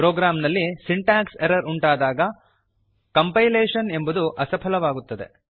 ಪ್ರೋಗ್ರಾಂನಲ್ಲಿ syntax errors ಉಂಟಾದಾಗ compilation ಎಂಬುದು ಅಸಫಲವಾಗುತ್ತದೆ